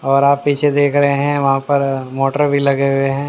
और आप पीछे देख रहे हैं वहां पर मोटर भी लगे हुए हैं।